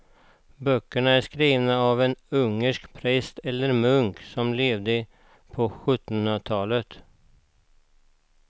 Böckerna är skrivna av en ungersk präst eller munk som levde på sjuttonhundratalet.